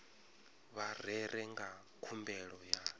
vha rere nga khumbelo ya